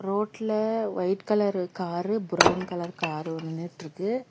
ரோட்ல white colour car brown colour car ஒன்னு நின்னுட்டுருக்கு.